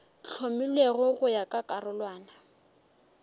hlomilwego go ya ka karolwana